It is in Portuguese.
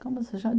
Como se